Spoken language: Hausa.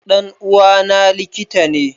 Dan uwa na likitane